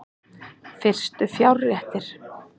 Fyrstu fjárréttir